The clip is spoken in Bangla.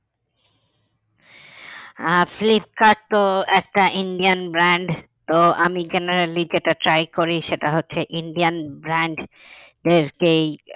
আহ ফ্লিপকার্ট তো একটা Indian brand তো আমি generally যেটা try করি সেটা হচ্ছে Indian brand কেই